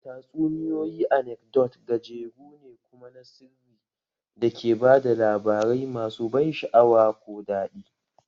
Tatsuniyoyi anekdot gajeru ne kuma na sirri da ke ba da labarai masu ban sha'awa ko daɗi